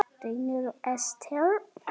Reynir og Esther.